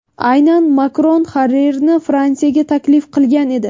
Aynan Makron Haririyni Fransiyaga taklif qilgan edi.